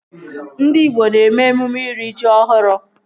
Ndị igbo na-eme emume iri ji ọhụrụ